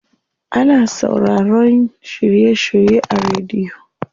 Ana sauraroyin shiry shirye a rediyo.